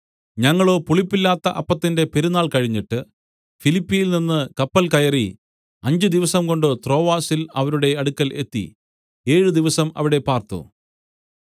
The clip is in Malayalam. ഞങ്ങളോ പുളിപ്പില്ലാത്ത അപ്പത്തിന്റെ പെരുന്നാൾ കഴിഞ്ഞിട്ട് ഫിലിപ്പിയിൽനിന്ന് കപ്പൽ കയറി അഞ്ച് ദിവസംകൊണ്ട് ത്രോവാസിൽ അവരുടെ അടുക്കൽ എത്തി ഏഴ് ദിവസം അവിടെ പാർത്തു